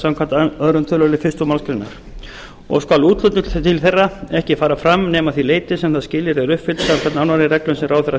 samkvæmt öðrum tölulið fyrstu málsgrein og skal úthlutun til þeirra ekki fara fram nema að því leyti sem það skilyrði er uppfyllt samkvæmt nánari reglum sem ráðherra